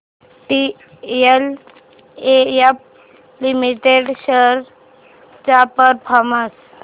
DLF limited shares चा performance